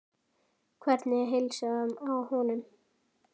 Hvernig er heilsan á honum?